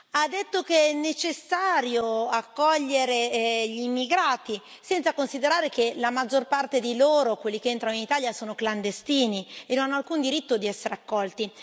ha detto che è necessario accogliere gli immigrati, senza considerare che la maggior parte di loro, quelli che entrano in Italia, sono clandestini e non hanno alcun diritto di essere accolti